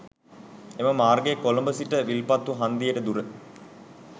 එම මාර්ගයේ කොළඹ සිට විල්පත්තු හන්දියට දුර